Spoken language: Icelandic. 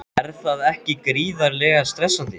Er það ekki gríðarlega stressandi?